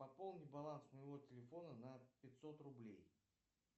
пополни баланс моего телефона на пятьсот рублей